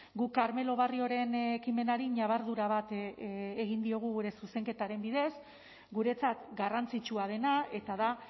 guk carmelo barrioren ekimenari ñabardura bat egin diogu gure zuzenketaren bidez guretzat garrantzitsua dena eta da